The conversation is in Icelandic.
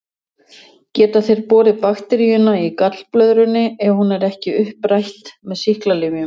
geta þeir borið bakteríuna í gallblöðrunni ef hún er ekki upprætt með sýklalyfjum